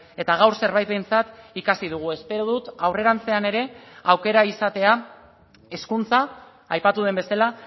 eta gaur zerbait behintzat ikasi dugu espero dut aurrerantzean ere aukera izatea hezkuntza aipatu den bezala